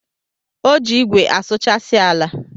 O ji igwe asụchasi ala.